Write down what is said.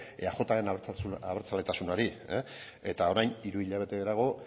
eajren abertzaletasunari eta orain hiru hilabete geroago